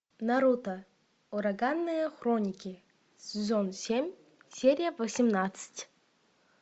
наруто ураганные хроники сезон семь серия восемнадцать